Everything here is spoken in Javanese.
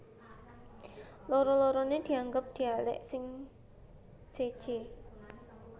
Loro loroné dianggep dialèk sing séjé